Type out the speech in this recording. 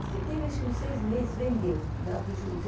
Teve acho que uns seis meses, vendeu, porque dava prejuízo.